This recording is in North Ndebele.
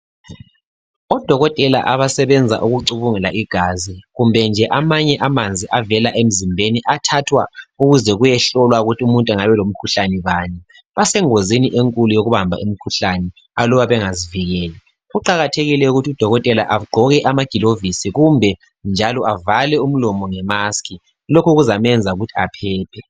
odokotela abasebenza ukucubungula igazi kumbe nje amanye amanzi avela emzimbeni athathwa ukuze kuyehlolwa ukuze kuyehlolwa ukuthi umuntu engabe elomkhuhlane bani basengozini enkulu yokubamba imkhuhlane aluba bengazivikeli kuqakathekile ukuthi udokotela agqoke amagilovisi kumbe njalo avale umlomo nge mask lokhu kuzamenza ukuthi aphephe